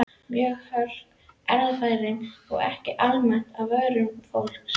Mörg hugtök erfðafræðinnar eru ekki almennt á vörum fólks.